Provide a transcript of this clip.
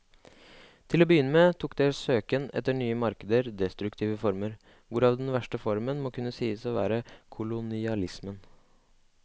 Til å begynne med tok deres søken etter nye markeder destruktive former, hvorav den verste formen må kunne sies å være kolonialismen.